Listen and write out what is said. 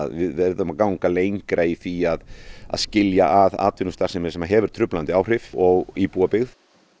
við verðum að ganga lengra í því að að skilja að atvinnustarfsemi sem hefur truflandi áhrif og íbúabyggð